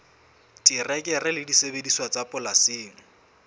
terekere le disebediswa tsa polasing